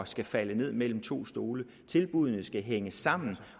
skal falde ned mellem to stole tilbuddene skal hænge sammen